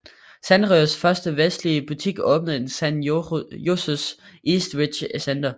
Sanrios første vestlige butik åbnede i San Joses Eastridge Center